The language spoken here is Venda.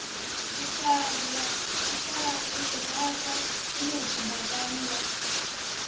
u rafha ṋotshi ḓakani ḽa